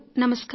నమస్కారం